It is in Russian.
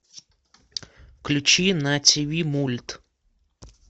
включи на тв мульт